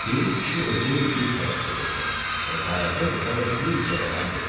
Piri kişi özü bir səbət götürdü və Qaraca qıza da bir cəvərən verdi.